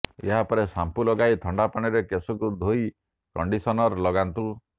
ଏହାପରେ ଶାମ୍ପୂ ଲଗାଇ ଥଣ୍ଡା ପାଣିରେ କେଶକୁ ଧୋଇ କଣ୍ଡିସନର ଲଗାନ୍ତୁ